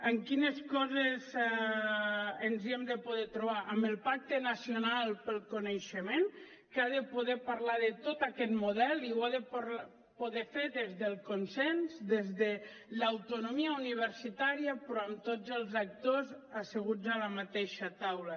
en quines coses ens hi hem de poder trobar en el pacte nacional per al coneixement que ha de poder parlar de tot aquest model i ho ha de poder fer des del consens des de l’autonomia universitària però amb tots els actors asseguts a la mateixa taula